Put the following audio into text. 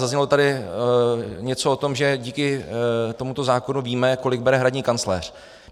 Zaznělo tady něco o tom, že díky tomuto zákonu víme, kolik bere hradní kancléř.